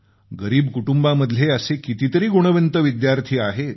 गरीब कुटुंबांमधले असे कितीतरी गुणवंत विद्यार्थी आहेत